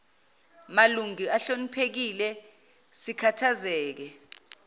malungu ahloniphekile sikhathazeke